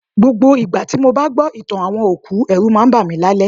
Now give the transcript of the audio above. Gbogbo ìgbà tí mo bá gbọ́ ìtàn àwọn òkú, ẹ̀rù máa ń bá mi lálẹ́